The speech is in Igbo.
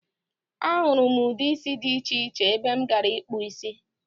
A hụrụ m ude isi dị iche iche ebe m gara ịkpụ isi.